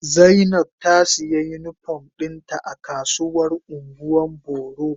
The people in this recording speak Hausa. Zainab ta siya unipom dinta a kasuwar ungwan boro.